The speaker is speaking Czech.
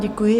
Děkuji.